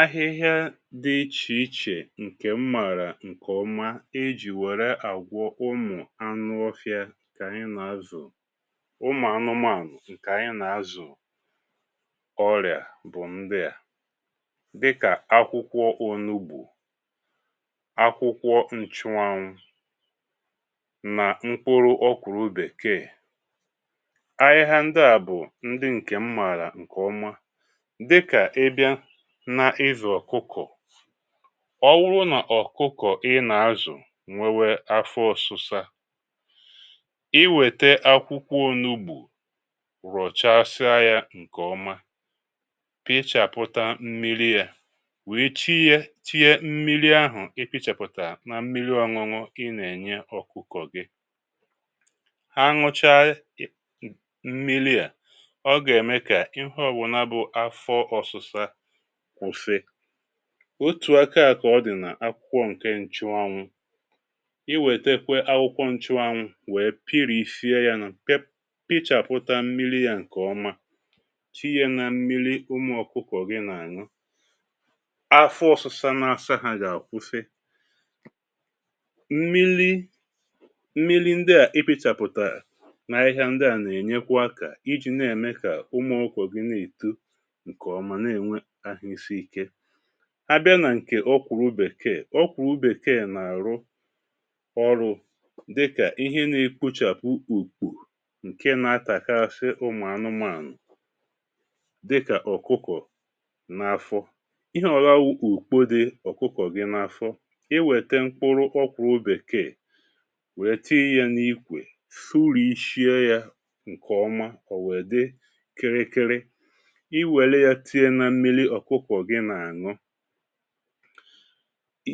Ahịhịa dị ichè ichè ǹkè m màrà ǹkè ọma e jì wère àgwọ ụmụ̀ anụ ofìȧ kà ànyị nà-azụ̀, ụmụ̀ anụmȧṅụ̀ ǹkè ànyị nà-azụ̀ ọrị̀à bụ̀ ndịà: dịkà akwụkwọ onugbȯ, akwụkwọ nchwanwụ, na mkpụrụ ọkwụrụ bèkee. Ahịhịa ndịà bụ ndị ǹkè m mààrà ǹkè ọma. Dịkà ị bia na ịzụ̀ ọ̀kụkọ̀, ọwụrụ nà ọ̀kụkọ̀ ị nà-azụ̀ nwewe afọ ọ̀sụsa, ị wète akwụkwọ onugbȯ, rọ̀chàsịa yȧ ǹkè ọma, pịchàpụta mmili yȧ, wèe tinye tinye mmili ahụ̀ ị pịchàpụtà na mmili ọ̀ṅụ̀ṅụ̀ ị nà-ènye ọ̀kụkọ̀ gị, ha ṅụcha mmili à, ọ gà-ème kà ịhe ọ̇bụnà bụ̀ afọ ọ̀sụsa kwusi. Otù aka kà ọ dị̀ nà akwụkwọ ǹke nchuanwụ. Ị wètekwe akwụkwọ nchuanwụ wee pịrịsie ya na, pe pịchàpụtà mmili ya ǹkè ọma, tinyia na mmili umù ọkụkọ̀ gi n’àṅụ, afọ ọ̀sụ̇sa na-asa ha gà-àkwusi. Mmili mmili ndị à i pịchàpụ̀tà nà ahịhịa ndị à nà-ènyekwa akȧ iji na-ème kà umu ọkụkọ̀ gị na-èto nke ọma, na-enwe ahụ isi ike. Abịa nà ǹkè ọkwụrụ bekee, ọkwụrụ bekee na-àrụ ọrụ̇ dịkà ihe na-ekpuchàpụ ùkpo ǹke nȧ-ȧtàkasị ụmụ̀ anụmȧnụ̀ dịkà ọkụkọ̀ n’afọ. Ihe ọ̀bụla wu ùkpo dị ọ̀kụkọ̀ gị n’afọ, ị wète mkpụrụ ọkwụrụ bekee, wė tinye n’ikwè, sụrìishi̇e yȧ ǹkèọma, ọ̀ wè dị kịrịkịrị, ị weria tinye nà mmili ọkụkọ̀ gị nà-àṅụ,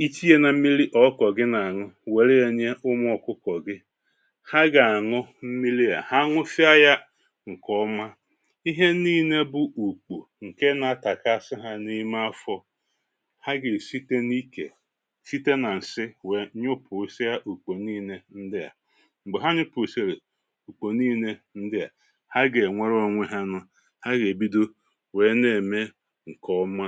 ị tinye nà mmili ọkụkọ̀ gị nà-àṅụ, wèria nye umu ọkụkọ̀ gị, ha gà-àṅụ mmili a. Ha ṅụsịa ya ǹkè ọma, ihe niine bu ùkpo, ǹke nȧ-atàkasị ha n’ime afọ̇, ha gà-èsite n’ikè̀, site nà-ǹsị, wèe nyụpùsịa ùkpo niine ndịà. M̀gbè ha nyụpùsị̀rị̀ ùkpo niine ndịà, ha gà-ènwere onwe ha nụ; ha gà-èbido wèe nà-ème ǹkè ọma.